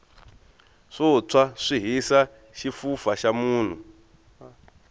swo tshwa swi hisa xifufa xa munhu